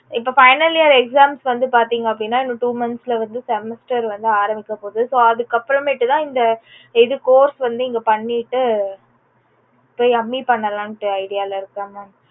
இப்போ final year exams வந்து பாத்தீங்க அப்புடின்னா இன்னும் two months ல வந்து semester வந்து ஆரமிக்க போகுது so அதுக்கு அப்பறமேட்டு தா course வந்து இங்க பண்ணிட்டு அப்புறம் ME பண்ணலாம்னு idea ல இருக்கேன் mam